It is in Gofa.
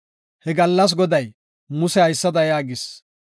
He gallas Goday Muse haysada yaagis;